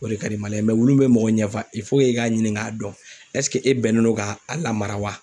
O de ka di maliyɛn ye wulu minnu bɛ mɔgɔ ɲɛ fa e k'a ɲinin k'a dɔn e bɛnnen don ka a lamara wa?